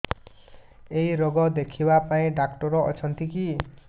ଏଇ ରୋଗ ଦେଖିବା ପାଇଁ ଡ଼ାକ୍ତର ଅଛନ୍ତି କି